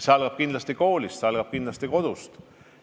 See algab kindlasti koolist, see algab kindlasti kodust.